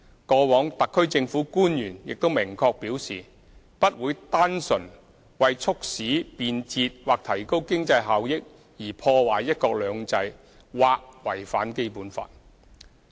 過往，特區政府官員亦明確表示，不會單純為促使便捷或提高經濟效益而破壞"一國兩制"或違反《基本法》。